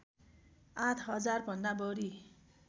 आठ हजार भन्दा बढी